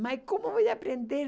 Mas como eu vou aprender?